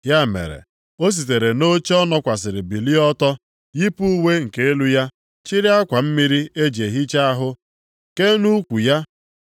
Ya mere, o sitere nʼoche ọ nọkwasịrị bilie ọtọ, yipụ uwe nke elu ya, chiri akwa mmiri e ji ehicha ahụ kee nʼukwu ya.